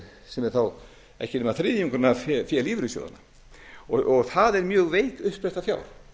sem er þá ekki nema þriðjungurinn af fé lífeyrissjóðanna það er mjög veik uppspretta fjár